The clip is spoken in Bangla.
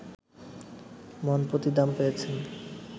মনপ্রতি দাম পেয়েছেন